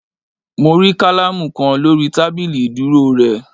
Mo rí kálámù kan lórí tábìlì ìdúró re